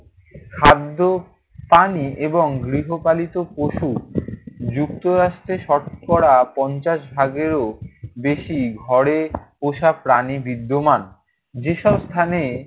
খাদ্য, পানি এবং গৃহপালিত পশু। যুক্তরাষ্ট্রে শতকরা পঞ্চাশ ভাগেরও বেশি ঘরে পোষা প্রাণী বিদ্যমান। যেসব স্থানে